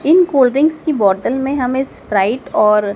इन cold drink की बोतल में हमें स्प्राइट और--